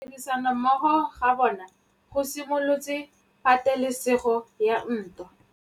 Go tlhoka tirsanommogo ga bone go simolotse patêlêsêgô ya ntwa.